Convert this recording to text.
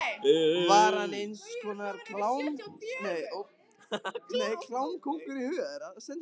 Var hann eins konar klámkóngur í huga þeirra?